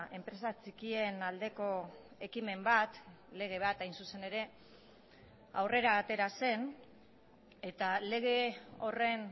enpresa txikien aldeko ekimen bat lege bat hain zuzen ere aurrera atera zen eta lege horren